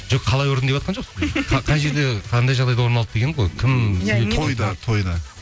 жоқ қалай ұрдың деватқан жоқпын қай жерде қандай жағдайда орын алды дегенім ғой кім тойда тойда